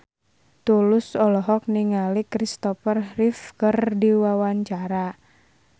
Tulus olohok ningali Kristopher Reeve keur diwawancara